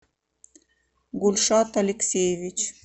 гульшат алексеевич